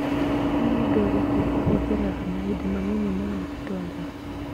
Nĩ mũndũ ũrĩkũ uhũtheraga mahinda manini muno gũtwara